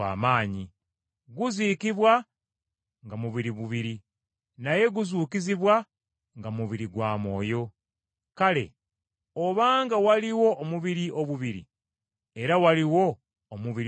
Guziikibwa nga mubiri bubiri, naye guzuukizibwa nga mubiri gwa mwoyo. Kale obanga waliwo omubiri obubiri, era waliwo omubiri ogw’omwoyo,